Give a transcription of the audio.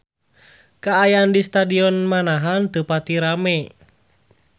Kaayaan di Stadion Manahan teu pati rame